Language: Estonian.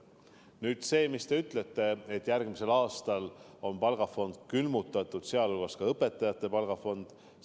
Nüüd see, mis te ütlete, et järgmisel aastal on palgafond, sh õpetajate palgafond, külmutatud.